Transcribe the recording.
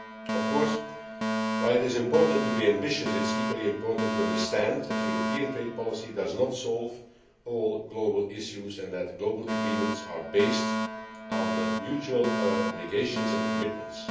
Of course, while it is important to be ambitious, it is equally important to understand that European trade policy does not solve all global issues and that global agreements are based on mutual obligations and commitments.